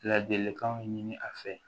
Ladilikanw ɲini a fɛ